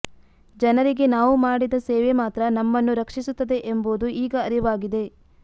ಜನರಿಗೆ ನಾವು ಮಾಡಿದ ಸೇವೆ ಮಾತ್ರ ನಮ್ಮನ್ನು ರಕ್ಷಿಸುತ್ತದೆ ಎಂಬುದು ಈಗ ಅರಿವಾಗಿದೆ